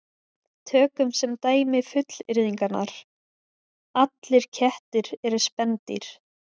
Tökum sem dæmi fullyrðingarnar: Allir kettir eru spendýr